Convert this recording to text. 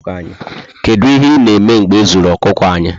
Kedu ihe na eme mgbe ezuru okuku anyị?